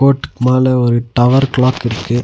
ஓட்டுக்கு மேல ஒரு டவர் கிளாக் இருக்கு.